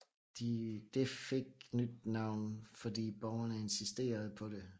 Det fik nyt navn fordi borgerne insisterede på det